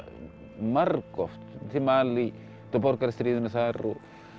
margoft til Malí til þar